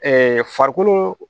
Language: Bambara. farikolo